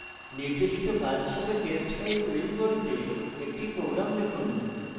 নির্দেশিত কাজ হিসাবে test file তৈরী করতে একটি program লিখুন